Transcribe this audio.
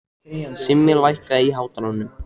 Simmi, lækkaðu í hátalaranum.